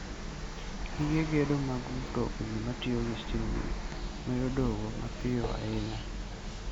Gige gedo mag mtokni matiyo gi stima medo dongo mapiyo ahinya.